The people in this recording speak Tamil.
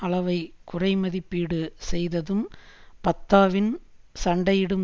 அளவை குறைமதிப்பீடு செய்ததும் ஃபத்தாவின் சண்டையிடும்